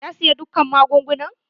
Ya siya dukka magungunan?